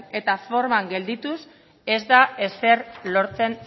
eta forman geldituz ez da ezer lortzen